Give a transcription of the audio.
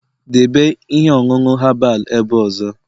debe ihe ọṅụṅụ herbal ebe ọzọ!